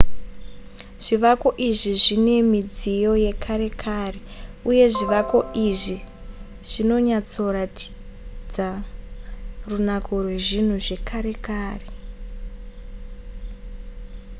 zvivako izvi zvine midziyo yekare kare uye zvivako izvi zvinonyatsoratidza runako rwezvinhu zvekare kare